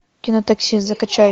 кино такси закачай